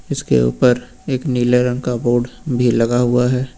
इसके ऊपर एक नीले रंग का बोर्ड लगा हुआ है।